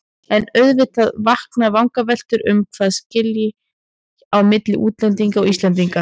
En auðvitað vakna vangaveltur um hvað skilji á milli útlendinga og Íslendinga.